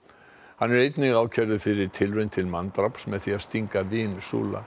hann er einnig ákærður fyrir tilraun til manndráps með því að stinga vin